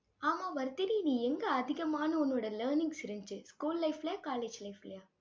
ஆமா, வர்தினி. நீ எங்க அதிகமான உன்னோட learnings இருந்துச்சு. school life லயா college life லயா